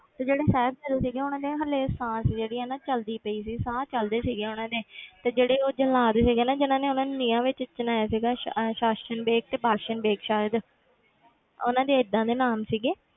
ਤੇ ਜਿਹੜੇ ਸਾਹਿਬਜ਼ਾਦੇ ਸੀਗੇ ਉਹਨਾਂ ਦੇ ਹਾਲੇ ਸਾਹ ਸੀ ਜਿਹੜੀ ਹਨਾ ਚੱਲਦੀ ਪਈ ਸੀ ਸਾਹ ਚੱਲਦੇ ਸੀਗੇ ਉਹਨਾਂ ਦੇ ਤੇ ਜਿਹੜੇ ਉਹ ਜਲਾਦ ਸੀਗੇ ਨਾ ਜਿੰਨਾਂ ਨੇ ਉਹਨਾਂ ਨੂੰ ਨੀਹਾਂ ਵਿੱਚ ਚਿਣਵਾਇਆ ਸੀਗਾ ਸਾ~ ਸਾਸਨ ਵੇਗ ਤੇ ਬਾਸਨ ਵੇਗ ਸ਼ਾਇਦ ਉਹਨਾਂ ਦੇ ਏਦਾਂ ਦੇ ਨਾਮ ਸੀਗਾ,